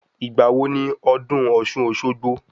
Ìgbà wo ni ọdún ọ̀ṣun - òṣogbo?